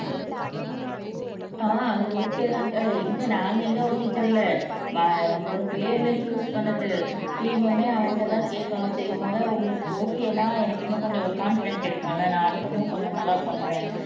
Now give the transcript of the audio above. ஆஹ் அது ஓகே தான்கா எங்க நாங்க எங்க ஓகே சொல்ல நம்மளோட பிள்ளைகள சூஸ் பண்ணது தீமுமே அவன்ட்டதான் கேட்கணும் சரி முதல் உங்களுக்கு ஓகேன்னா எனக்கு இன்னும் கொஞ்சம் ஒரு கான்ஃபிடெண்ட் கிடைக்கும்ல நான் அடுத்த மூவ் கொஞ்சம் நல்லா பண்ணுவேன்